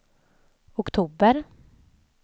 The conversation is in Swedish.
oktober